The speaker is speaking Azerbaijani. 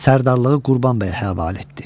Sərdarlığı Qurbanbəyə həvalə etdi.